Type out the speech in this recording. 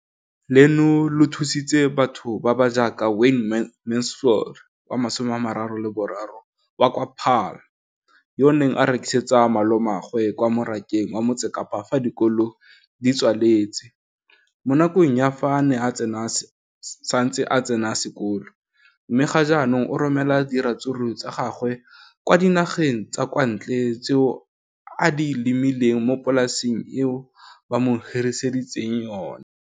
Leno le thusitse batho ba ba jaaka Wayne Mansfield, 33, wa kwa Paarl, yo a neng a rekisetsa malomagwe kwa Marakeng wa Motsekapa fa dikolo di tswaletse, mo nakong ya fa a ne a santse a tsena sekolo, mme ga jaanong o romela diratsuru tsa gagwe kwa dinageng tsa kwa ntle tseo a di lemileng mo polaseng eo ba mo hiriseditseng yona.